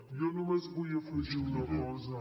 jo només vull afegir una cosa